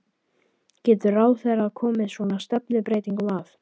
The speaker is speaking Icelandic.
Getur ráðherra komið svona stefnubreytingum að?